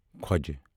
کھۄج